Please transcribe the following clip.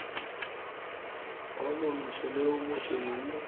o montsho le o mosweu